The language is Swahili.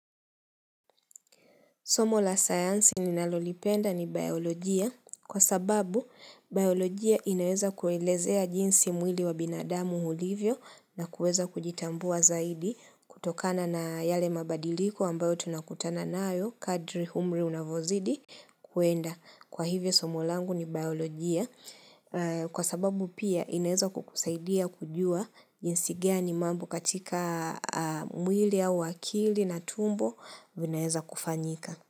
Somo la sayansi ninalolipenda ni biolojia kwa sababu biolojia inaweza kuelezea jinsi mwili wa binadamu ulivyo na kuweza kujitambua zaidi kutokana na yale mabadiliko ambayo tunakutana nayo kadri umri unavyozidi kuenda. Kwa hivyo somo langu ni biolojia kwa sababu pia inaeza kukusaidia kujua jinsi gani mambo katika mwili au akili na tumbo vinaeza kufanyika.